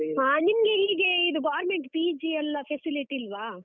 ಹಾ, ನಿಮ್ಗೆ ಹೀಗೇ ಇದು government PG ಎಲ್ಲ facility ಇಲ್ವಾ?